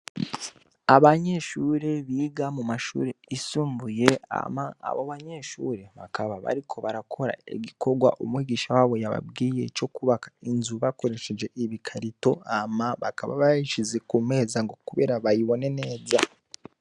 Abanyeshure biga mu mashure yisumbuye, hama abo banyeshure bakaba bariko barakora igikorwa umwigisha wabo yababwiye co kwubaka inzu bakoresheje ibikarato. Hama bakaba bayishize ku meza ngo kubera bayibone neza.